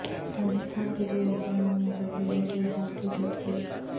راجستھان کے دو اضلاع میں زلزلے کے ہلکے جھٹکے